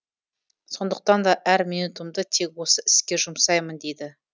сондықтан да әр минутымды тек осы іске жұмсаймын дейді